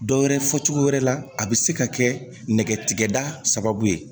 Dɔ wɛrɛ fɔ cogo wɛrɛ la a bi se ka kɛ nɛgɛtigɛbaa sababu ye